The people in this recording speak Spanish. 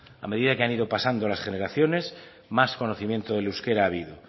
a medida que han ido pasando las generaciones más conocimiento del euskera ha habido